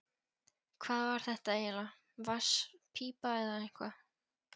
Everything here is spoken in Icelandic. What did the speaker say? Hvað var þetta eiginlega, vatnspípa eða eitthvað?